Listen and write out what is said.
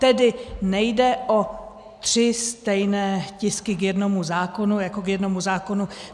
Tedy nejde o tři stejné tisky k jednomu zákonu jako k jednomu zákonu.